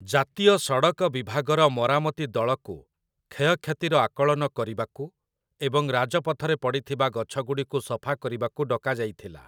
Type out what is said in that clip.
ଜାତୀୟ ସଡ଼କ ବିଭାଗର ମରାମତି ଦଳକୁ କ୍ଷୟକ୍ଷତିର ଆକଳନ କରିବାକୁ ଏବଂ ରାଜପଥରେ ପଡ଼ିଥିବା ଗଛଗୁଡ଼ିକୁ ସଫା କରିବାକୁ ଡକାଯାଇଥିଲା ।